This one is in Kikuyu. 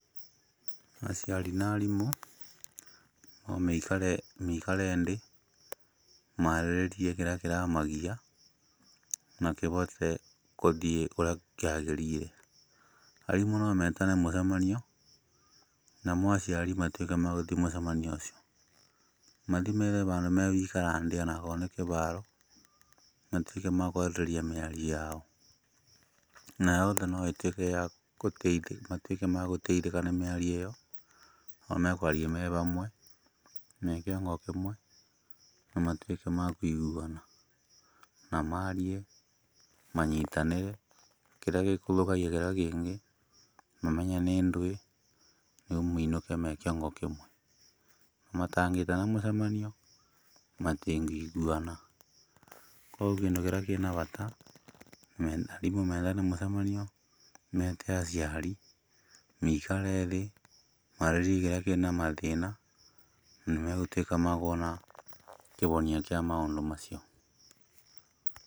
Aciari na aarimũ no meikare ndĩ, maarĩrĩrie kĩrĩa kĩramagia, na kĩvote kũthiĩ kũrĩa kĩagĩrire, aarimũ no metane mũcemanio, namo aciari matuĩke ma gũthi mũcemanio ũcio, mathi methe vandũ megũikara ndĩ onakorwo nĩ kĩvaaro matuĩke ma kwarĩrĩria mĩario yao, na yoothe noĩtuĩke ya kũteithia matuĩke ma kũteithĩka nĩ mĩario ĩyo to mekwaria me vamwe, me kĩongo kĩmwe, na matuĩke ma kũiguana, na marie manyitanĩre, kĩrĩa gĩkũthũkagia kĩrĩa kĩngĩ, mamenye nĩ ndũĩ, rĩu mainũke me kĩongo kĩmwe. Matangĩtana mũcemanio, matĩngĩiguana koguo kĩndũ kĩrĩa kĩna vata, aarimũ metane mũcemanio mete aciari, meikarĩ thĩ, marĩrĩrie kĩrĩa kĩna mathĩĩna na nĩmegũtuĩka ma kuona kĩvonia kĩa maũndũ macio.